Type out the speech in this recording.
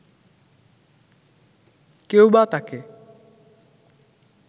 কেউবা তাকে